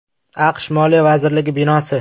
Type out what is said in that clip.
AQSh moliya vazirligi binosi.